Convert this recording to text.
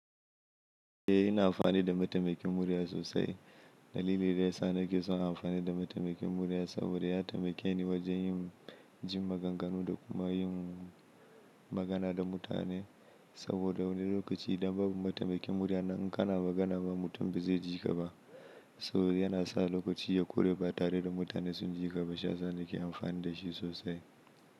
Eh, ina amfani da matamakin murya sosai. Dalili dayasa nake son amfani da matamakin murya saboda ya tamikeni wajen yin jin maganganu da kuma yin magana da mutane. Saboda wani lokaci idan babu matamakin murya nan, in kana magana, mutum bai je ji ka ba. So yana sa lokaci ya ƙure ba tare da mutane sun ji ka ba. Shiyasa nake amfani da shi sosai.